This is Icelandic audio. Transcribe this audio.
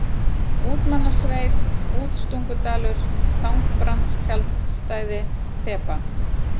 Útmannasveit, Útstungudalur, Þangbrandstjaldstæði, Þeba